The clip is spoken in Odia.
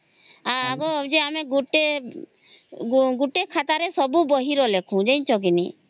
ଆଗରୁ ଯେ ଆମେ ଗୁଟେ ଖାତା ରେ ସବୁ ବହି ର ଲେଖୁ ଜାଣିଛ କି ନାହିଁ